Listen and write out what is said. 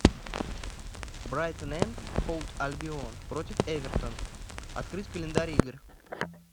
брайтон энд хоув альбион против эвертон открыть календарь игр